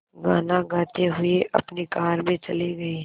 गाना गाते हुए अपनी कार में चले गए